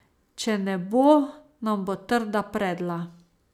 Če ne bo, nam bo trda predla.